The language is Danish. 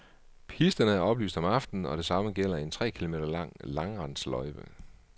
Pisterne er oplyst om aftenen, og det samme gælder en tre kilometer lang langrendsløjpe.